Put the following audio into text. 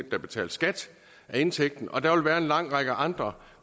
at der betales skat af indtægten og der vil være en lang række andre